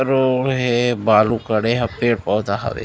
Road हे बालू कड़े हे पेड़-पौधा हवे।